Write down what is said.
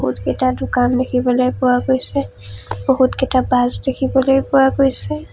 বহুতকেইটা দোকান দেখিবলৈ পোৱা গৈছে বহুতকেইটা বাছ দেখিবলৈ পোৱা গৈছে।